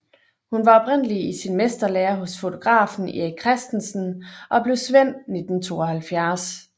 Hun var oprindeligt i mesterlære hos fotografen Erik Christensen og blev svend 1972